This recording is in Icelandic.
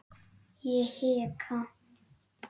Ég hika.